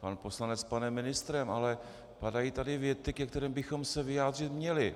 pan poslanec s panem ministrem, ale padají tady věty, ke kterým bychom se vyjádřit měli.